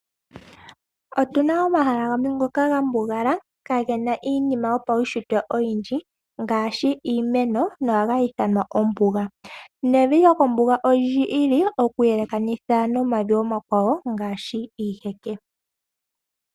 Otuna omahala gamwe ngoka ga mbugala ka gena nande iinima yopaushitwe oyindji ngaashi iimeno na ohaga ithanwa ombuga. Nevi lyokumbuga olyi ili oku yelekanitha nomavi omakwawo ngaashi iiheke .